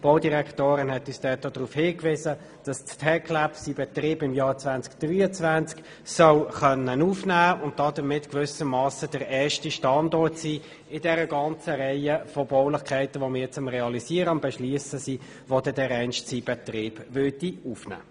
Die Baudirektorin hat uns auch darauf hingewiesen, dass das TecLab seinen Betrieb im Jahr 2023 aufnehmen können soll, womit wir gewissermassen der erste Standort in der ganzen Reihe der zu realisierenden und jetzt zu beschliessenden Baulichkeiten sind, welche dereinst ihren Betrieb aufnehmen.